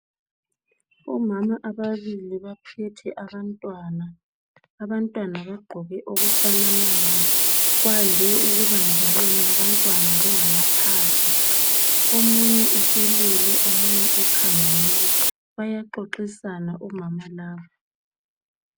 Omama ababili baphethe abantwana, abantwana bagqoke okufananayo kwande ukuba njalo nxa abantwana bengamaphahla omunye uselele omunye ukhangele bayaxoxisana omama laba.